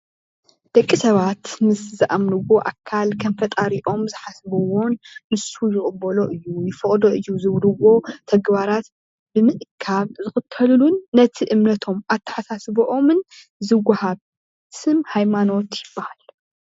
ደቅሰባት ምስ ዝኣምንዎ ኣካል ኸም ፈጣሪኦም ዝሓስብዎን ንሱ ይቅበሎ እዩ ይፈቅዶ እዩ ዝብልዎ ተግባራት ብምእካብ ዝክተልሉን ነቲ እምነቶም ኣተሓሳስብኦምን ዝወሃብ ስም ሃይማኖት ይበሃል።